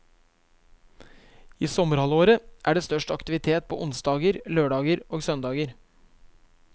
I sommerhalvåret er det størst aktivitet på onsdager, lørdager og søndager.